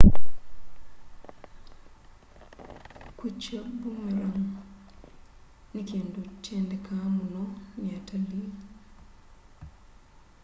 kwicha boomerang ni kindu kyendekaa muno ni atalii